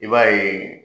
I b'a ye